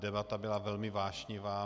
Debata byla velmi vášnivá.